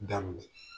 Daminɛ